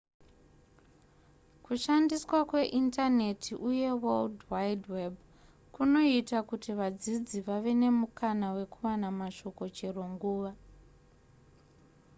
kushandiswa kweindaneti uye world wide web kunoita kuti vadzidzi vave nemukana wekuwana mashoko chero nguva